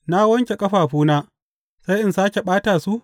Na wanke ƙafafuna, sai in sāke ɓata su?